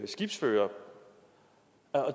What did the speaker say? skibsførere